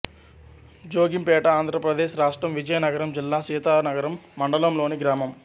జోగింపేట ఆంధ్ర ప్రదేశ్ రాష్ట్రం విజయనగరం జిల్లా సీతానగరం మండలంలోని గ్రామం